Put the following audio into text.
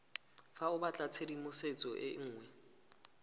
fa o batlatshedimosetso e nngwe